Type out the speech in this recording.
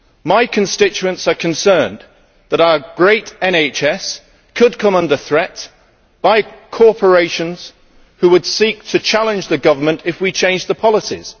My constituents are concerned that our great National Health Service could come under threat from corporations who would seek to challenge the government if we change the policies.